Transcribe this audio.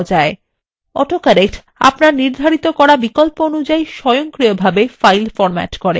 autocorrect আপনার নির্ধারিত করা বিকল্প অনুযায়ী স্বয়ংক্রিয়ভাবে file formats করে